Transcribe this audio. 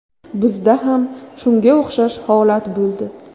Bizda ham shunga o‘xshash holat bo‘ldi.